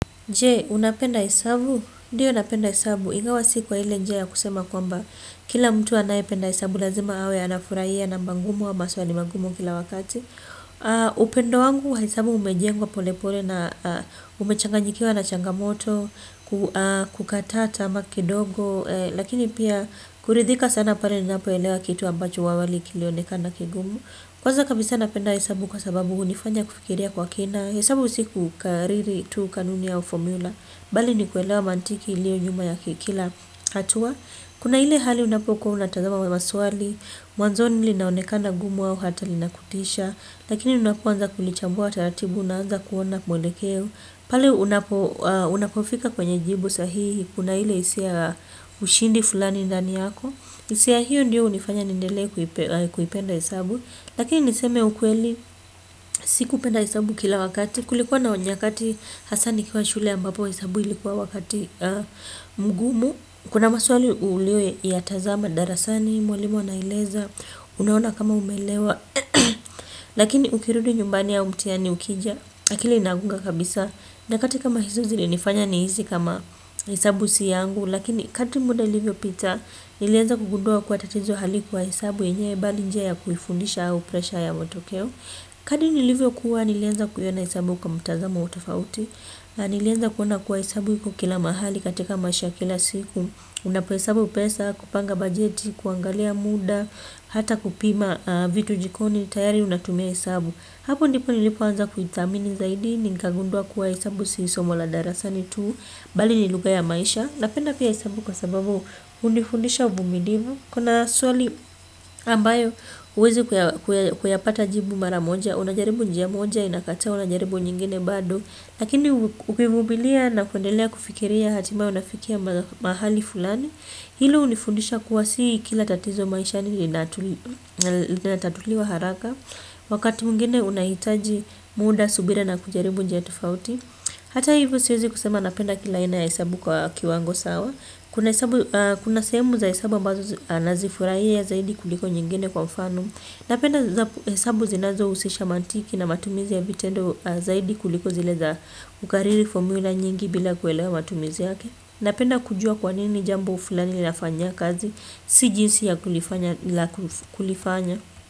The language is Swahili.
Je, unapenda hesabu? Ndiyo napenda hesabu. Ingawa si kwa ile njia ya kusema kwamba. Kila mtu anaye penda hesabu lazima awe anafurahia na mba ngumu au maswali magumu kila wakati. Upendo wangu wa hesabu umejengwa polepole na umechanganyikiwa na changamoto, kukatata ama kidogo. Lakini pia kuridhika sana pare ni napoelewa kitu ambacho awali kilionekana kigumu. Kwaza kabisa napenda hesabu kwa sababu hunifanya kufikiria kwa kina. Hesabu si kukariri tu kanuni au formula bali ni kuelewa mantiki ilio nyuma ya kikila hatua. Kuna ile halibunapikuwa unatazama kwa maswali. Mwanzoni linaonekana gumu au hata li nakutisha. Lakini unapuanza kulichambua taratibu unaanza kuona mwendekeo. Pale unapo unapofika kwenye jibu sahihi kuna ile hisia ushindi fulani ndani yako hisia hiyo ndio hunifanya nindelee kuipenda hesabu. Lakini niseme ukweli si kupenda hesabu kila wakati. Kulikuwa na nyakati hasa nikwa shule ambapo hesabu ilikuwa wakati mgumu. Kuna maswali ulio ya tazama darasani, mwalimu anaeleza, unaona kama umelewa. Lakini ukirudi nyumbani au mtihani ukija, akili inagonga kabisa. Nyakati kama hizo zili nifanya ni hizi kama hesabu siyangu. Lakini kati muda ilivyo pita, nilianza kugundua kuwa tatizo hali kuwa hesabu yenyewe bali njia ya kuifundisha au pressure ya motokeo. Kadi nilivyo kuwa nilianza kuiona hesabu kwa mtazamo utofauti. Nilianza kuona kuwa hesabu iko kila mahali katika maisha ya kila siku. Unapo hesabu pesa, kupanga bajeti, kuangalia muda, hata kupima vitu jikoni, tayari unatumia hesabu. Hapo ndipo nilipo anza kuithamini zaidi, ninkagundua kuwa hesabu si somola darasani tu bali ni lugha ya maisha napenda pia hesabu kwa sababu hunifundisha uvumilivu kuna swali ambayo huwezi kuyapata jibu mara moja. Unajaribu njia moja inakata unajaribu nyingine bado. Lakini ukivumilia na kundelea kufikiria hatimaye unafikia mahali fulani. Hilo hunifundisha kuwasi kila tatizo maishani linatatuliwa haraka. Wakati mwingine unahitaji muda subira na kujaribu njia tofauti. Hata hivyo siwezi kusema napenda kila aina ya hesabu kwa kiwango sawa. Kuna sehemu za hesabu ambazo na zifurahia zaidi kuliko nyingine kwa mfano. Napenda hesabu zinazo husisha mantiki na matumizi ya vitendo zaidi kuliko zileza kukariri formula nyingi bila kuelewa matumizi yake, napenda kujua kwanini jambo fulani linafanyia kazi si jinsi ya kulifanya.